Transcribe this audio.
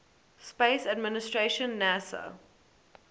space administration nasa